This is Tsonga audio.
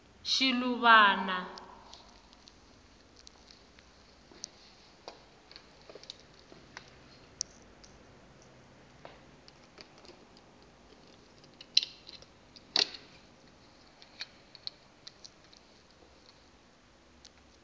shiluvana